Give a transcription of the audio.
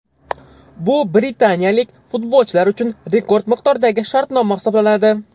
Bu britaniyalik futbolchilar uchun rekord miqdordagi shartnoma hisoblanadi.